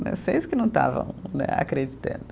Vocês que não estavam né acreditando.